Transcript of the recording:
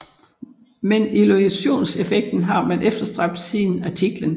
Men illusionseffekten har man efterstræbt siden antikken